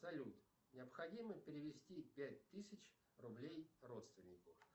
салют необходимо перевести пять тысяч рублей родственнику